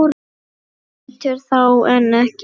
Eitur þá en ekki nú?